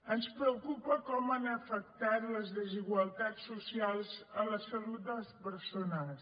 ens preocupa com han afectat les desigualtats socials la salut de les persones